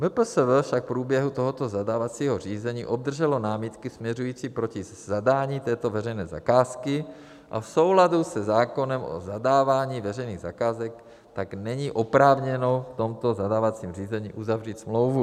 MPSV však v průběhu tohoto zadávacího řízení obdrželo námitky směřující proti zadání této veřejné zakázky a v souladu se zákonem o zadávání veřejných zakázek tak není oprávněno v tomto zadávacím řízení uzavřít smlouvu.